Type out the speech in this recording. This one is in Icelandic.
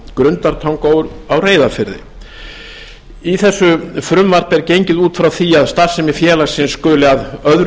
grundartanga og á reyðarfirði þá er í frumvarpinu gengið út frá því að starfsemi félagsins skuli að öðru